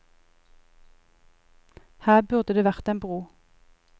Her burde det vært en bro.